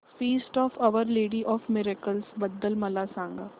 feast of our lady of miracles बद्दल मला सांगा